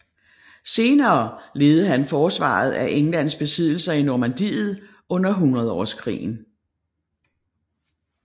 Senere ledede han forsvaret af Englands besiddelser i Normandiet under Hundredårskrigen